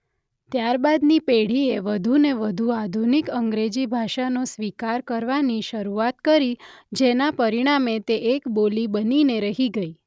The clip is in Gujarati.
ત્યારબાદની પેઢીએ વધુને વધુ આધુનિક અંગ્રેજી ભાષાનો સ્વીકાર કરવાની શરૂઆત કરી જેના પરિણામે તે એક બોલી બનીને રહી ગઇ.